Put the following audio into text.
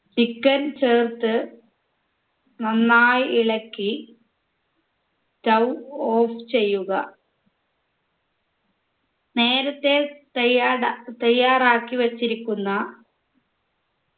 chicken ചേർത്ത് നന്നായി ഇളക്കി stove off ചെയ്യുക നേരത്തെ തയ്യാട തയ്യാറാക്കി വെച്ചിരിക്കുന്ന